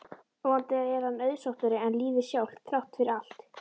Vonandi er hann auðsóttari en lífið sjálft, þrátt fyrir allt.